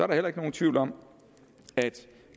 der heller ikke nogen tvivl om at